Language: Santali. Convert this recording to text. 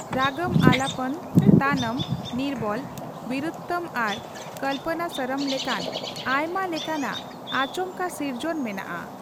ᱨᱟᱜᱚᱢ ᱟᱞᱟᱯᱚᱱ, ᱛᱟᱱᱚᱢ, ᱱᱤᱨᱵᱚᱞ, ᱵᱤᱨᱩᱛᱛᱚᱢ ᱟᱨ ᱠᱚᱞᱯᱚᱱᱟᱥᱚᱨᱚᱢ ᱞᱮᱠᱟᱱ ᱟᱭᱢᱟ ᱞᱮᱠᱟᱱᱟᱜ ᱟᱪᱚᱢᱠᱟ ᱥᱤᱨᱡᱚᱱ ᱢᱮᱱᱟᱜᱼᱟ ᱾